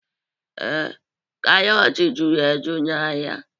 Ee, karọt juru eju n'ahịa